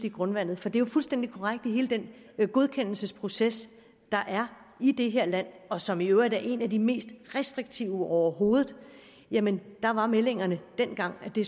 i grundvandet for det er fuldstændig korrekt at i hele den godkendelsesproces der er i det her land og som i øvrigt er en af de mest restriktive overhovedet jamen der var meldingerne dengang at det